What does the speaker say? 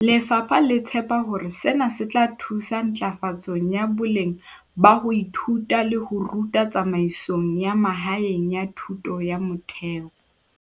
Lefapha le tshepa hore sena se tla thusa ntlafatsong ya boleng ba ho ithuta le ho ruta tsamaisong ya mahaeng ya thuto ya motheo.